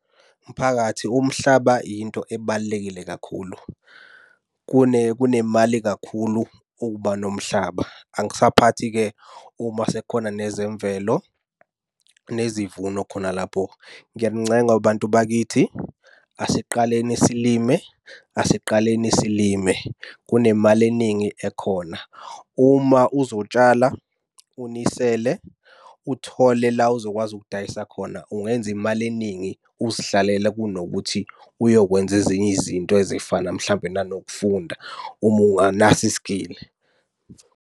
Mphakathi umhlaba yinto ebalulekile kakhulu. Kunemali kakhulu ukuba nomhlaba, angisaphathi-ke uma sekukhona nezemvelo, nezivuno khona lapho. Ngiyanincenga bantu bakithi, asiqaleni silime asiqaleni silime, kunemali eningi ekhona. Uma uzotshala unisele uthole la ozokwazi ukudayisa khona ungenza imali eningi uzihlalele kunokuthi uyokwenza ezinye izinto ezifana mhlampe nanokufunda uma unganaso i-skill-i.